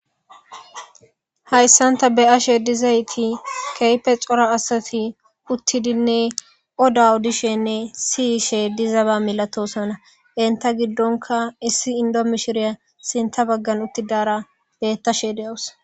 Haysan ta be'ashe dizayti kehipe c'ora asati utidinne oda odishenne siyshe dizaba milatosona enta gidonka issi indo mishiriya sinta bagan utidara betashe de'awus.